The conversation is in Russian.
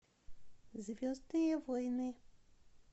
звездные войны